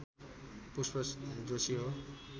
पुष्प जोशी हो